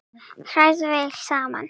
Hrærðu vel saman.